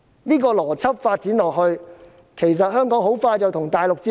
這個邏輯發展下去，其實香港很快便會與大陸接軌。